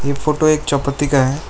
यह फोटो एक चौपत्ति का है।